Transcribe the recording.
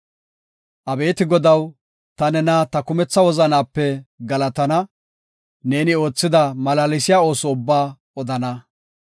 Abeeti Godaw, ta nena ta kumetha wozanaape galatana; neeni oothida malaalsiya ooso ubbaa odana.